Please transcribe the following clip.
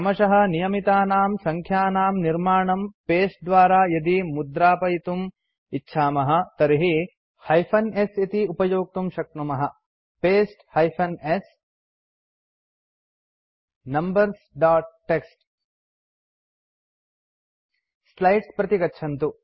क्रमशः नियमितानां सङ्ख्यानां निर्माणं पस्ते द्वारा यदि मुद्रापयितुमिच्छामः तर्हि paste hyphen s numbers dot TXT slides प्रति गच्छन्तु